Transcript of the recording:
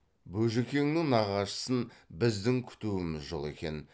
бөжікеңнің нағашысын біздің күтуіміз жол екен